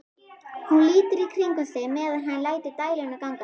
Hún lítur í kringum sig meðan hann lætur dæluna ganga.